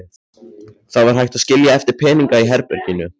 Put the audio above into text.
Það var hægt að skilja eftir peninga í herberginu.